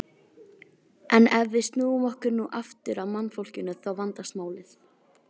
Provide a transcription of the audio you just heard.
En ef við snúum okkur nú aftur að mannfólkinu þá vandast málið.